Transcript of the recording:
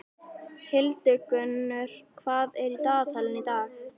Hildigunnur, hvað er í dagatalinu í dag?